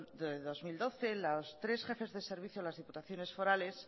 de dos mil doce los tres jefes de servicios de las diputaciones forales